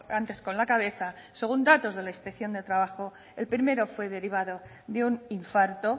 antes con la cabeza según datos de la inspección de trabajo el primero fue derivado de un infarto